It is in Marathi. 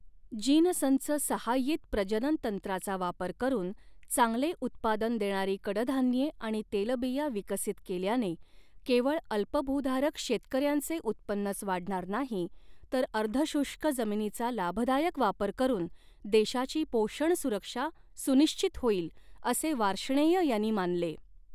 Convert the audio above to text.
जीनसंच सहाय्यित प्रजनन तंत्राचा वापर करून चांगले उत्पादन देणारी कडधान्ये आणि तेलबिया विकसित केल्याने केवळ अल्पभूधारक शेतकऱ्यांचे उत्पन्नच वाढणार नाही, तर अर्ध शुष्क जमिनीचा लाभदायक वापर करून देशाची पोषण सुरक्षा सुनिश्चित होईल, असे वार्ष्णेय यांनी मानले.